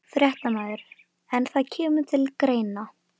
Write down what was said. Fréttamaður: En það kemur til greina?